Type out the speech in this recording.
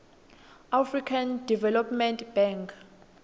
african development bank